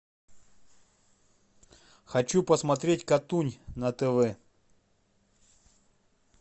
хочу посмотреть катунь на тв